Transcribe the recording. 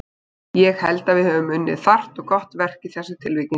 Ég held að við höfum unnið þarft og gott verk í þessu tilviki.